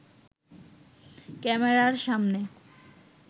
ক্যামেরার সামনে